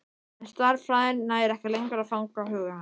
En stærðfræðin nær ekki lengur að fanga huga hans.